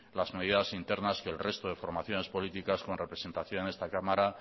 las medidas internas que el resto de formaciones políticas con representación en esta cámara